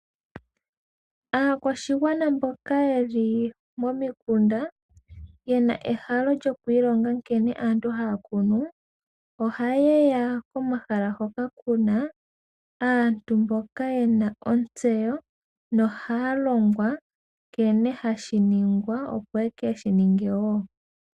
Aakwashigwana mboka yeli momikunda na oye na ehalo lyo kwiilonga nkene aantu haa kunu, oha yeya komahala hoka ku na aantu mboka ye na ontseyo na ohaa longwa nkene hashi ningwa yo oye keshi ninge woo.